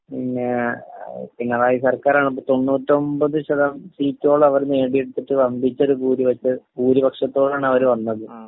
പിന്ന...പിണറായി സർക്കാരാണിപ്പോ 99 ശത..സീറ്റോളം അവർ നേടിയെടുത്തിട്ട് വമ്പിച്ച ഒരു ഭൂരിപക്ഷത്തോടാണവര് വന്നത്.